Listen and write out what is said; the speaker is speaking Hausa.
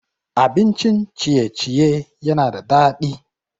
Abincin ciye-ciye yana da daɗi.